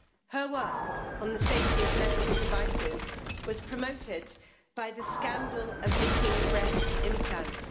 Her work on the safety of medical devices was promoted by the scandal of leaking breast implants